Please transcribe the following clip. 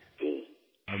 जी